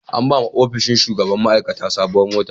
An ba wa ofishin shugaban ma'aikata sabuwar mota.